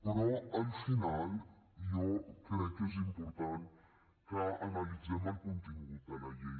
però al final jo crec que és important que analitzem el contingut de la llei